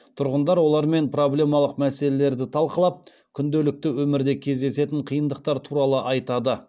тұрғындар олармен проблемалық мәселелерді талқылап күнделікті өмірде кездесетін қиындықтар туралы айтады